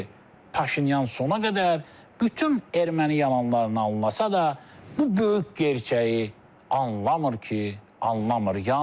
Halbuki Paşinyan sona qədər bütün erməni yalanlarını anlasa da, bu böyük gerçəyi anlamır ki, anlamır.